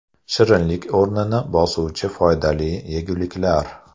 Shirinlik o‘rnini bosuvchi foydali yeguliklar.